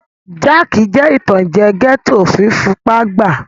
Jáàkì jẹ́ ìtànjẹ́ gẹ́ẹ́tò fún fipá gbàá